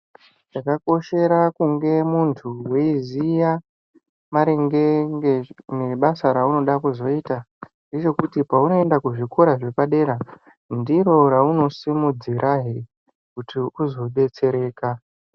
Zvakakoshera kunge mundu weyiziya maringe ngebasa raunenge weyida kuzoita zvino kuti paunoenda kuzvikoro zvepadera ndiro raunosimudzira pii kuti uzobetsereka.